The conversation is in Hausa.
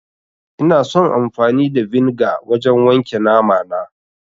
Ina son amfani da vinegar wajen wanke namana